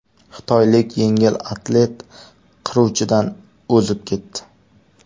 Xitoylik yengil atlet qiruvchidan o‘zib ketdi.